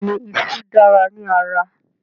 Bẹ́ẹ̀ni iṣú dára ní ara